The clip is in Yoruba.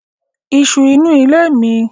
Isu inú ilé ni